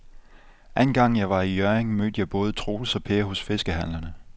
Anden gang jeg var i Hjørring, mødte jeg både Troels og Per hos fiskehandlerne.